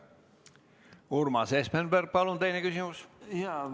Urmas Espenberg, palun teine küsimus!